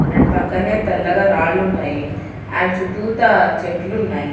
And పక్కనే తెల్లగా రాళ్లు ఉన్నాయి అండ్ చుట్టూత చెట్లు ఉన్నాయి.